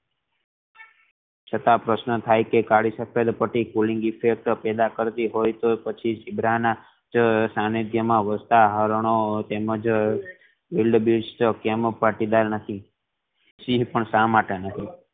છતાં પ્રશ્ન થઈ કે કાલી સફેદ પટ્ટી cooling effect પેદા કરતી હોય તો પછી ઝીબ્રા ના સ્થાને જેમાં ઉલ્કા હારનો તેમ જ એ પણ સા માટે